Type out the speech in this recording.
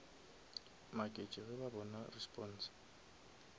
maketše ge ba bona response